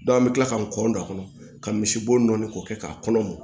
an bɛ tila ka n kɔndɔ kɔnɔ ka misi bo nɔɔni k'o kɛ k'a kɔnɔ